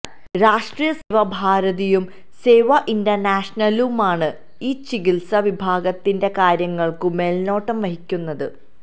രാഷ്ട്രീയ സേവാ ഭാരതിയും സേവാ ഇന്റര്നാഷണലുമാണ് ഈ ചികിത്സാ വിഭാഗത്തിന്റെ കാര്യങ്ങള്ക്കു മേല്നോട്ടം വഹിക്കുന്നത്